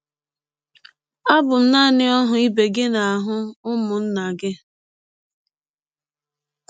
Abụ m naanị ọhụ ibe gị na ọhụ ụmụnna gị...